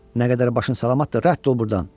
Nə qədər başın salamatdır, rədd ol burdan.